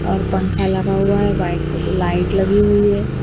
ऊपर पंखा लगा हुआ है व्हाइट लाइट लगी हुई है।